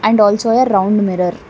And also a round mirror.